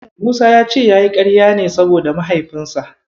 Musa ya ce yayi ƙarya ne saboda Mahaifinsa.